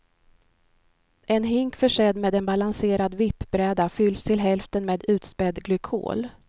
En hink försedd med en balanserad vippbräda fylls till hälften med utspädd glykol.